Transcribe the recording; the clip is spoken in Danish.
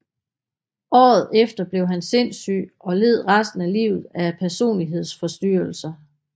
Året efter blev han sindssyg og led resten af livet af personlighedsforstyrrelser